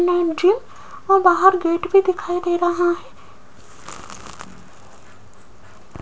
ना मुझे और बाहर गेट भी दिखाई दे रहा है।